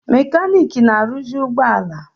Mekaniki na-aruzi ụgbọ ala.